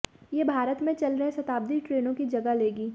ये भारत में चल रहे शताब्दी ट्रेनों की जगह लेगी